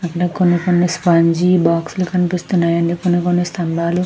అక్కడ కొన్ని కొన్నవ్ స్పాంజి బాక్స్ లు కనిపిస్తున్నాయండి. కొన్ని కొన్ని స్తంభాలు -